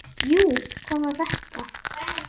Jú, hvað var þetta?